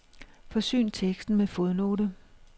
Forsyn teksten med fodnote.